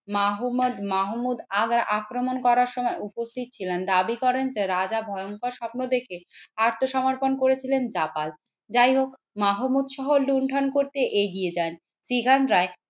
মাহমদ মাহমুদ আগ্রা আক্রমণ করার সময় উপস্থিত ছিলেন। দাবি করেন যে রাজা ভয়ংকর স্বপ্ন দেখে আত্মসমর্পণ করেছিলেন জাপাল যাই হোক মাহমুদ সহ লুণ্ঠন করতে এগিয়ে যান সিগান রায়।